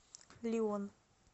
лион